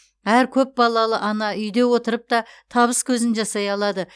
әр көпбалалы ана үйде отырып та табыс көзін жасай алады